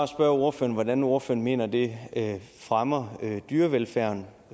spørge ordføreren hvordan ordføreren mener at det fremmer dyrevelfærden og